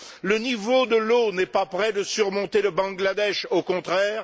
Le niveau de l'eau n'est pas près de surmonter le Bangladesh, au contraire.